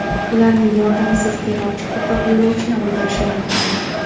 Ularning yordamisiz terrorchi ko‘proq yo‘lovchini o‘ldirishi mumkin edi.